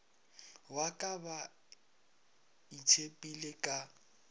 wa ka ba itshepile ka